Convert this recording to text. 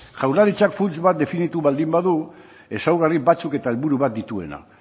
jaurlaritzak funts bat definitu baldin badu ezaugarri batzuk eta helburu bat dituena